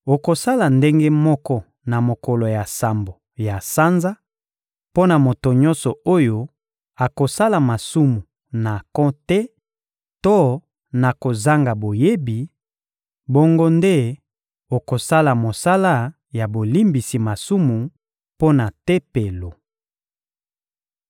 Okosala ndenge moko na mokolo ya sambo ya sanza, mpo na moto nyonso oyo akosala masumu na nko te to na kozanga boyebi; bongo nde okosala mosala ya bolimbisi masumu mpo na Tempelo.